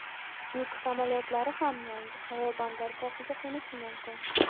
yuk samolyotlari ham yangi havo bandargohiga qo‘nishi mumkin.